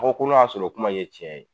Ŋo ko n'a y'a sɔr'o kuma in ye tiɲɛ ye